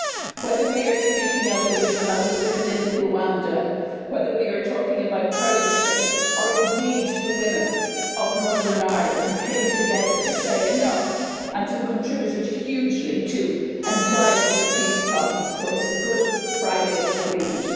Whether we are speaking about the women in Rwanda, whether we are talking about Kurdish women, or indeed the women of Northern Ireland who came together to say enough', and who contributed hugely to, and guided, the peace process towards the Good Friday Agreement.